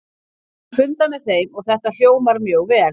Ég hef fundað með þeim og þetta hljómar mjög vel.